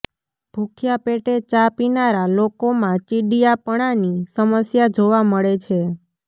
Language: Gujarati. ભૂખ્યા પેટે ચા પીનારા લોકોમાં ચિડિયાપણાની સમસ્યા જોવા મળે છે